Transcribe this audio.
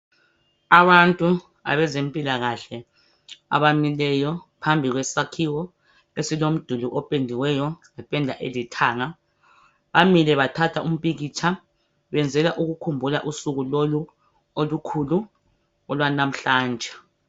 Abantu abezempilakahle abamileyo phambi kwesakhiwo esilomduli opendiweyo ngependa elithanga bamile bathatha umpikitsha besenzela ukukhumbula usuku lolu olukhulu olwanamhlanje